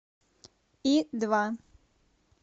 и два